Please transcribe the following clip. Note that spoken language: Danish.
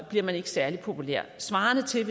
bliver man ikke særlig populær det svarer til